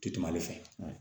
Ti kuma ale fɛ